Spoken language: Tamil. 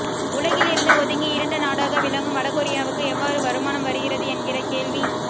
உலகில் இருந்து ஒதுங்கி இருண்ட நாடாக விளங்கும் வடகொரியாவுக்கு எவ்வாறு வருமானம் வருகிறது என்கிற கேள்வி